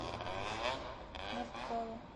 нарткала